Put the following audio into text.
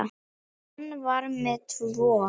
Hann var með tvo.